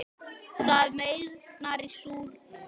Það meyrnar í súrnum.